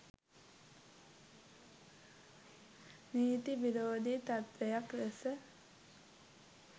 නීති විරෝධී තත්ත්වයක් ලෙස